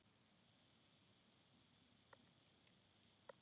Björn kraup föður sínum.